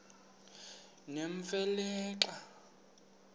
nemfe le xa